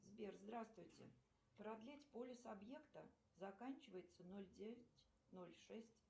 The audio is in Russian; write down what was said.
сбер здравствуйте продлить полис объекта заканчивается ноль девять ноль шесть